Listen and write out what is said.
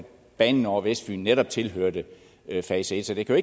banen over vestfyn netop tilhørte fase et så det kan